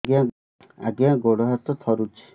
ଆଜ୍ଞା ଗୋଡ଼ ହାତ ଥରୁଛି